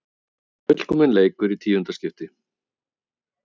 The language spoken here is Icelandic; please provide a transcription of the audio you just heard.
Fullkominn leikur í tíunda skipti